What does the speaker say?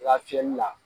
I ka fiyɛli la